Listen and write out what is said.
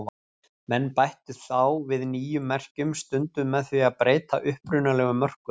Menn bættu þá við nýjum merkjum, stundum með því að breyta upprunalegu mörkunum.